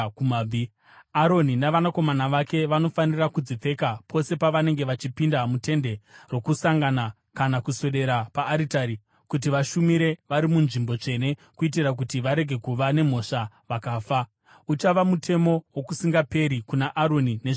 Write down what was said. Aroni navanakomana vake vanofanira kudzipfeka pose pavanenge vachipinda muTende roKusangana kana kuswedera paaritari kuti vashumire vari muNzvimbo Tsvene, kuitira kuti varege kuva nemhosva vakafa. “Uchava mutemo wokusingaperi kuna Aroni nezvizvarwa zvake.